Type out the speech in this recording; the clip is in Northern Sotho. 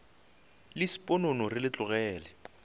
le sponono re le tlogele